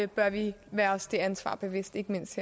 bør vi være os det ansvar bevidst ikke mindst